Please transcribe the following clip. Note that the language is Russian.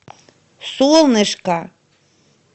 солнышко